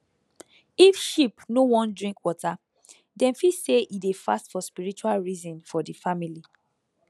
if sheep no wan drink water dem fit say e dey fast for spiritual reason for the family